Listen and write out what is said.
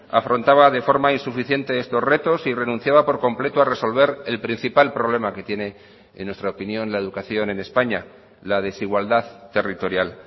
afrontaba de forma insuficiente estos retos y renunciaba por completo a resolver el principal problema que tiene en nuestra opinión la educación en españa la desigualdad territorial